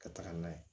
Ka taga n'a ye